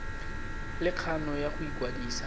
le kgano ya go ikwadisa